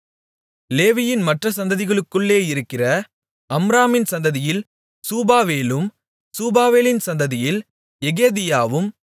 லேவியின் மற்ற சந்ததிகளுக்குள்ளே இருக்கிற அம்ராமின் சந்ததியில் சூபவேலும் சூபவேலின் சந்ததியில் எகேதியாவும்